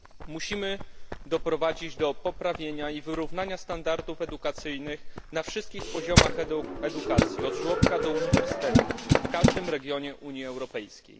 Musimy doprowadzić do poprawienia i wyrównania standardów edukacyjnych na wszystkich poziomach edukacji, od żłobka do uniwersytetu, w każdym regionie Unii Europejskiej.